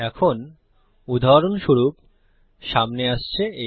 এখন উদাহরণস্বরূপ সামনে আসছে আ